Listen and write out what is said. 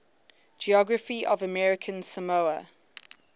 geography of american samoa